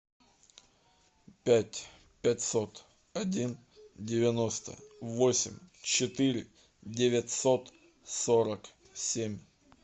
пять пятьсот один девяносто восемь четыре девятьсот сорок семь